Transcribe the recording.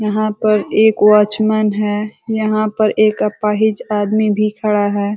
यहाँ पर एक वॉचमन है। यहाँ पर एक अपाहिज आदमी भी खड़ा है।